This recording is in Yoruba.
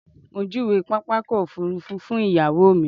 Mo júwe pápákọ̀ òfurufú fún ìyàwó mi.